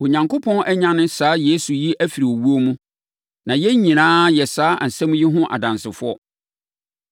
Onyankopɔn anyane saa Yesu yi afiri owuo mu, na yɛn nyinaa yɛ saa asɛm yi ho adansefoɔ.